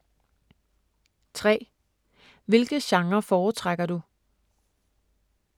3) Hvilke genrer foretrækker du?